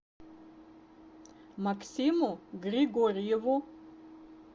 максиму григорьеву